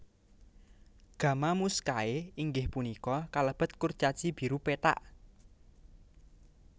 Gamma Muscae inggih punika kalebet kurcaci biru pethak